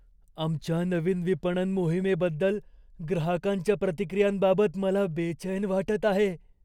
आमच्या नवीन विपणन मोहिमेबद्दल ग्राहकांच्या प्रतिक्रियांबाबत मला बैचेन वाटत आहे.